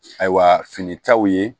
Ayiwa finitaw ye